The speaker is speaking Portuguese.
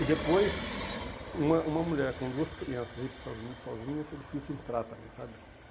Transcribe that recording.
E depois, uma uma mulher com duas crianças, ir para os Estados Unidos sozinha, seria difícil entrar também, sabe?